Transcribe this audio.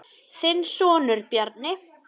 Þinn sonur, Bjarni.